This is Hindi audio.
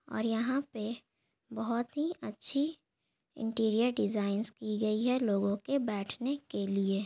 और यहाँ पे बहुत ही अच्छी इंटीरियर डिज़ाइंस की गई है लोगो के बेठने के लिए।